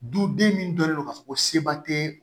Duden min dɔnnen don k'a fɔ ko seba tɛ